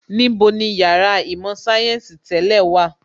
Níbo ni Yàrá īmò sayensi tẹ́lẹ̀ wà?